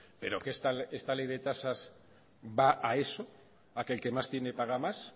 pero que esta ley de tasas va a eso a que el que más tiene paga más